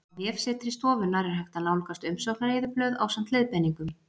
Á vefsetri stofunnar er hægt að nálgast umsóknareyðublöð ásamt leiðbeiningum.